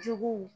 Juguw